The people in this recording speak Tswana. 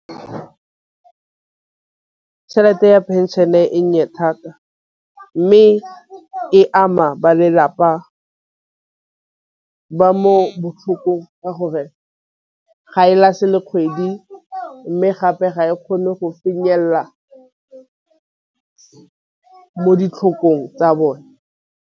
Tšhelete ya pension e nnye thata mme e ama ba lelapa ba mo go ka gore ga e le kgwedi mme gape ga e kgone go mo ditlhakong tsa bone.